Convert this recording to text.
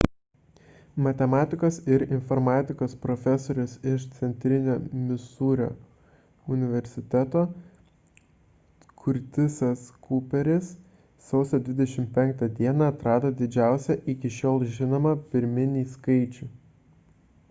matematikos ir informatikos profesorius iš centrinio misūrio universiteto curtisas cooperis sausio 25 dieną atrado didžiausią iki šiol žinomą pirminį skaičių